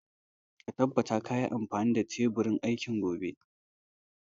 Ka tabbata ka yi amfani da teburin aiki gobe